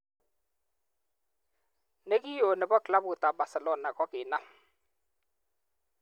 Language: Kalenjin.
Ne ki o ne bo klabut ab Barcelona kokinam.